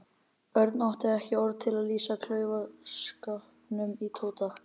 Örn átti ekki orð til að lýsa klaufaskapnum í Tóta.